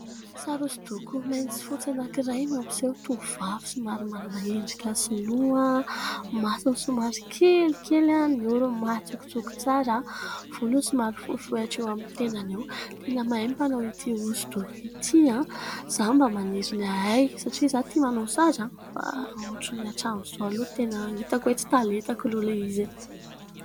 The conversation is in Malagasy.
Sary hosodoko mainty sy fotsy anankiray mampiseho tovovavy somary manana endrika Sinoa, ny masony somary kelikely, ny orony matsikotsiko tsara, ny volony somary fohifohy hatreo amin'ny tendany eo, tena mahay ny mpanao ity hosodoko ity ; izaho mba maniry ny hahay satria izaho tia manao sary, fa ohatran'ny hatramin'izao aloha tena hitako hoe : tsy taletako ilay izy e !